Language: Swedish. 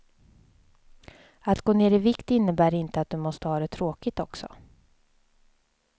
Att gå ner i vikt innebär inte att du måste ha det tråkigt också.